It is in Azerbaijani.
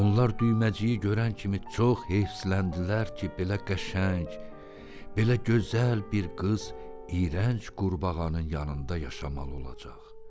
Onlar düyməciyi görən kimi çox heyrsləndilər ki, belə qəşəng, belə gözəl bir qız iyrənc qurbağanın yanında yaşamalı olacaq.